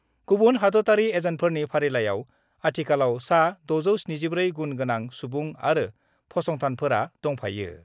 गुबुन हादतयारि एजेन्टफोरनि फारिलाइयाव आथिखालाव सा 674 गुण गोनां सुबुं आरो फसंथानफोरा दंफायो।